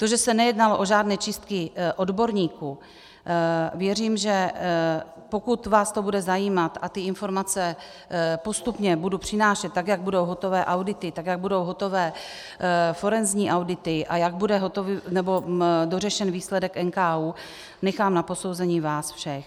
To, že se nejednalo o žádné čistky odborníků, věřím, že pokud vás to bude zajímat, a ty informace postupně budu přinášet, tak jak budou hotové audity, tak jak budou hotové forenzní audity a jak bude dořešen výsledek NKÚ, nechám na posouzení vás všech.